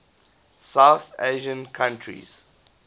south asian countries